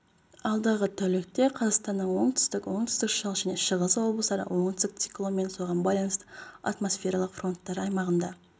алдағы тәулікте қазақстанның оңтүстік оңтүстік-шығыс және шығыс облыстары оңтүстік циклон мен соған байланысты атмосфералық фронттар аймағында